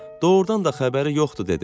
Doğrudan da xəbəri yoxdur dedi.